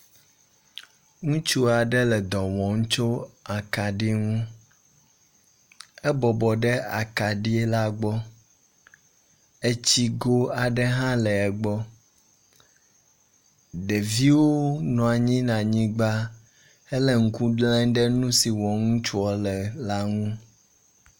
Ŋutsu aɖe le dɔwɔm tso akaɖi ŋu, ebɔbɔ ɖe akaɖi la gbɔ, etsigo aɖe hã le anyigba, ɖevi nɔa anyi ɖe anyigba hele ŋku le ɖe nu si wɔm wole la ŋu